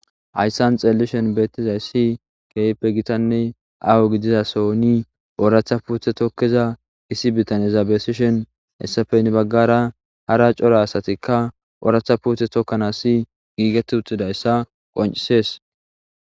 hayssan xeellishen beettizay si keype gitanne aho gidizasoni ooratha puuthe tokkiza isi bitaneza besishen hessafeyni baggara hara cora asatikka ooratha puuthe tokkanasi giigetti utxidayssa qoncisees